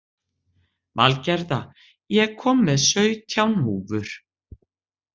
Valgerða, ég kom með sautján húfur!